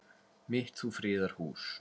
mitt þú friðar hús.